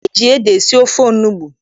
E ji ede esi ofe onugbu.